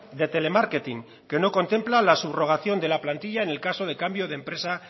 de telemarketing que no contempla la subrogación de la plantilla en el caso de cambio de empresa